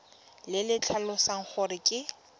le le tlhalosang gore ke